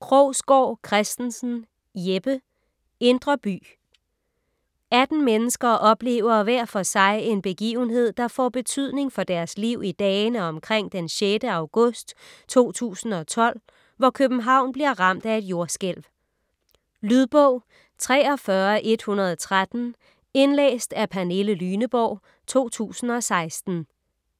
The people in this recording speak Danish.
Krogsgaard Christensen, Jeppe: Indre by 18 mennesker oplever hver for sig en begivenhed, der får betydning for deres liv i dagene omkring den 6. august 2012, hvor København bliver ramt af et jordskælv. Lydbog 43113 Indlæst af Pernille Lyneborg, 2016.